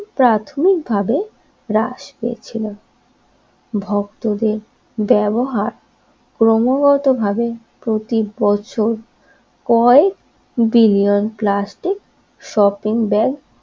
প্রাথমিকভাবে হ্রাস পেয়েছিল ভক্তদের ব্যবহার ক্রমাগতভাবে প্রতিবছর কয়েক মিলিয়ন প্লাস্টিক শপিং ব্যাগ